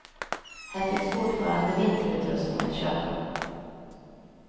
Här finns fortfarande vinterutrustning att köpa.